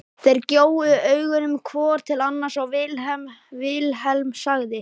Þeir gjóuðu augunum hvor til annars og Vilhelm sagði